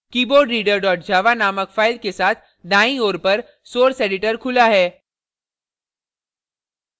keyboardreader java नामक file के साथ दाईं ओर पर source editor खुला है